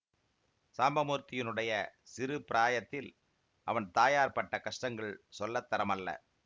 சாம்பமூர்த்தியினுடைய சிறு பிரயாத்தில் அவன் தாயார் பட்ட கஷ்டங்கள் சொல்லத்தரமல்ல